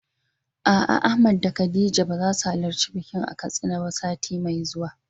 A'a Ahmad da Khadija bazasu halarci bikin a Katsina ba sati mai zuwa ba.